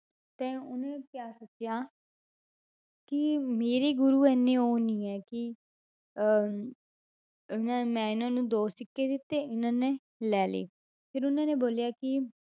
ਤੇ ਉਹਨੇ ਕਿਆ ਸੋਚਿਆ ਕਿ ਮੇਰੇ ਗੁਰੂ ਇੰਨੇ ਉਹ ਨੀ ਹੈ ਕਿ ਅਹ ਨਾ ਮੈਂ ਇਹਨਾਂ ਨੂੰ ਦੋ ਸਿੱਕੇ ਦਿੱਤੇ, ਇਹਨਾਂ ਨੇ ਲੈ ਲਏ ਫਿਰ ਉਹਨਾਂ ਨੇ ਬੋਲਿਆ ਕਿ